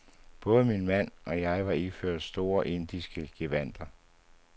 Både min mand og jeg var iført store indiske gevandter.